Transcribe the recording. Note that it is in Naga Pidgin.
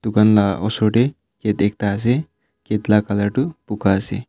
dukan la osor tey gate ekta ase gate la colour tu buka ase.